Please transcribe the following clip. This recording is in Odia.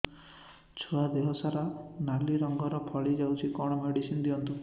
ଛୁଆ ଦେହ ସାରା ନାଲି ରଙ୍ଗର ଫଳି ଯାଇଛି କଣ ମେଡିସିନ ଦିଅନ୍ତୁ